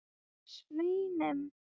Og svínum.